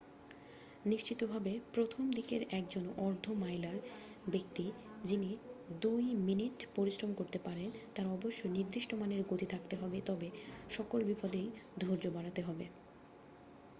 নিশ্চিতভাবে প্রথম-দিকের একজন অর্ধ মাইলার ব্যক্তি যিনি দুই মিনিট পরিশ্রম করতে পারেন তার অবশ্যই নির্দিষ্ট মানের গতি থাকতে হবে তবে সকল বিপদেই ধৈর্য বাড়াতে হবে